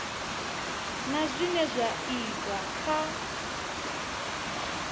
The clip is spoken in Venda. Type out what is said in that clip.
na zwine zwa itwa kha